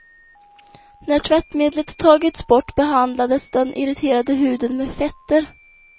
När tvättmedlet tagits bort behandlades den irriterade huden med fetter.